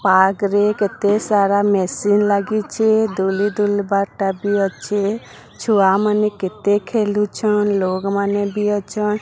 Park ରେ କେତେ ସାରା ମେସିନ ଲାଗିଚି ଦୁଲି ଦୁଲବା ଟା ବି ଅଛି ଛୁଆ ମାନେ କେତେ ଖେଲୁଛନ ଲୋକ ମାନେ ବି ଅଛନ।